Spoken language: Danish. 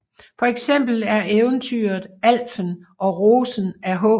Et eksempel er eventyret Alfen og rosen af H